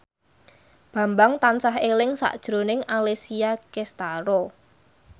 Bambang tansah eling sakjroning Alessia Cestaro